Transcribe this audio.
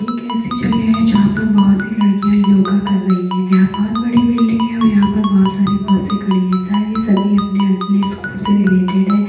ये कैसी जगह है जहाँ पर बहुत सी लड़कियाँ योगा कर रही हैं यहाँ बहुत बड़ी बिल्डिंग है और यहाँ पर बहुत सारी बसें खड़ी हैं शायद यह सभी अपने अल प्ले स्कूल से रिलेटेड हैं।